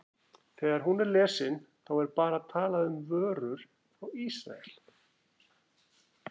Þegar hún er lesin, þá er bara talað um vörur frá Ísrael?